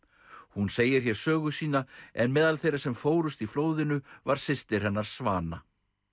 hún segir hér sögu sína en meðal þeirra sem fórust í flóðinu var systir hennar svana